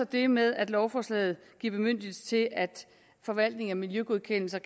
det med at lovforslaget giver bemyndigelse til at forvaltning af miljøgodkendelser